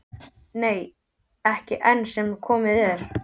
Nei, ekki enn sem komið er.